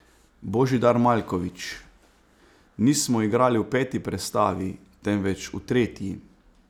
Božidar Maljković: "Nismo igrali v peti prestavi, temveč v tretji.